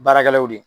Baarakɛlaw de ye